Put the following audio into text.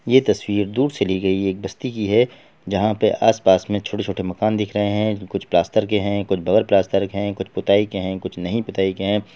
ये तस्वीर दूर से ली गयी एक बस्ती की है जहां पे आस-पास में छोटे-छोटे मकान दिख रहे है कुछ प्लास्टर के है कुछ बगैर प्लास्टर के है कुछ पुताई के है कुछ नहीं पुताई के है।